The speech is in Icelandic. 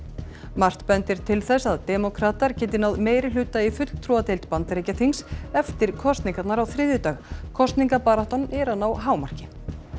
margt bendir til þess að demókratar geti náð meirihluta í fulltrúadeild Bandaríkjaþings eftir kosningarnar á þriðjudag kosningabaráttan er að ná hámarki